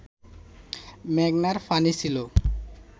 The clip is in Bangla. মেঘনার পানি ছিল